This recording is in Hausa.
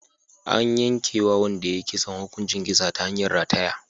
An yanke wa wanda ya yi kisan hukuncin kisa ta hanyar rataya.